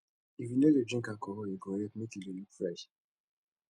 if you no dey drink alcohol e go help make you dey look fresh